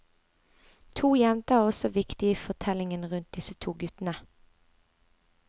To jenter er også viktige i fortellingen rundt disse to guttene.